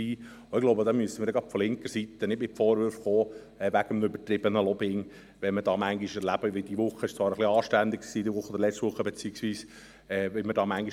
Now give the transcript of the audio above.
Und ich glaube, gerade von linker Seite müssen wir nicht mit Vorwürfen wegen übertriebenem Lobbying kommen, angesichts dessen, was wir hier manchmal erleben beziehungsweise wie wir hier manchmal behandelt werden – diese Woche war es zwar anständig.